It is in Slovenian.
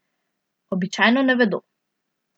Običajno ne vedo.